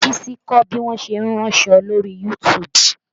Bísí ń kọ́ bí wọn ṣe ń ránṣọ lóri YouTube